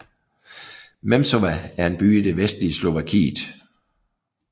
Nemšová er en by i det vestlige Slovakiet